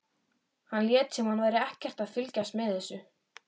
Hann lét sem hann væri ekkert að fylgjast með þessu.